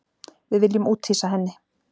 Við viljum úthýsa henni